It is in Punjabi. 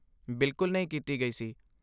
ਬਿਲਕੁਲ ਨਹੀਂ ਕੀਤੀ ਗਈ ਸੀ।